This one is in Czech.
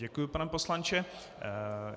Děkuju pane poslanče.